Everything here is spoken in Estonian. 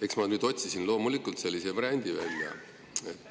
Eks ma otsisin loomulikult sellise variandi välja,